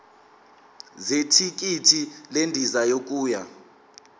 zethikithi lendiza yokuya